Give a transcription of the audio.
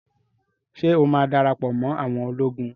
Ṣé ó má darapọ̀ mọ́ awọn ológun?